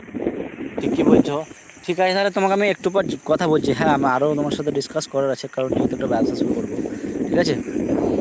ঠিকই বলছো. ঠিক আছে তাহলে তোমাকে আমি একটু পর ক~ কথা বলছি হ্যাঁ আমারও তোমার সাথে discuss করার আছে কারণ যেহেতু একটা ব্যবসা শুরু করবো ঠিক আছে ঠিক আছে?